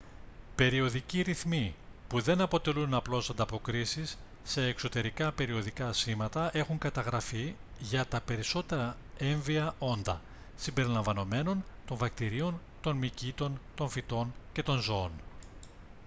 περιοδικοί ρυθμοί που δεν αποτελούν απλώς ανταποκρίσεις σε εξωτερικά περιοδικά σήματα έχουν καταγραφεί για τα περισσότερα έμβια όντα συμπεριλαμβανομένων των βακτηρίων των μυκήτων των φυτών και των ζώων